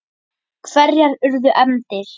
Hverjar urðu efndir?